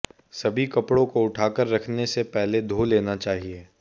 सभी कपड़ों को उठाकर रखने से पहले धो लेना चाहिए